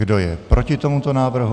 Kdo je proti tomuto návrhu?